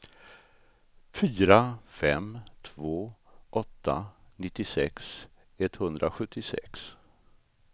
fyra fem två åtta nittiosex etthundrasjuttiosex